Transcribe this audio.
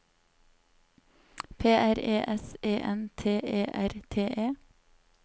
P R E S E N T E R T E